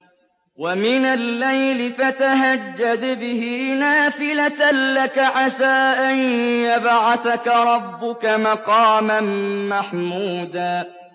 وَمِنَ اللَّيْلِ فَتَهَجَّدْ بِهِ نَافِلَةً لَّكَ عَسَىٰ أَن يَبْعَثَكَ رَبُّكَ مَقَامًا مَّحْمُودًا